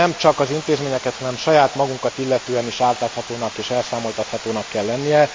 Nem csak az intézményeket, hanem saját magunkat illetően is átláthatónak és elszámoltathatónak kell lenni.